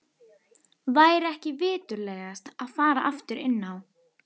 Væri ekki viturlegast að fara aftur inn á